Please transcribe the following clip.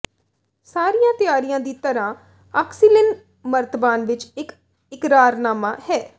ਸਾਰੀਆਂ ਤਿਆਰੀਆਂ ਦੀ ਤਰ੍ਹਾਂ ਆਕਸੀਲਿਨ ਮਰਤਬਾਨ ਵਿੱਚ ਇਕ ਇਕਰਾਰਨਾਮਾ ਹੈ